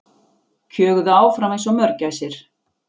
Kjöguðu áfram einsog mörgæsir.